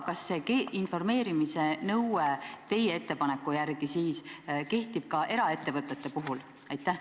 Kas see informeerimise nõue teie ettepaneku järgi kehtib ka eraettevõtete puhul?